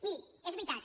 miri és veritat